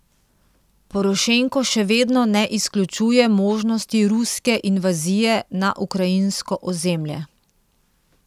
Porošenko še vedno ne izključuje možnosti ruske invazije na ukrajinsko ozemlje.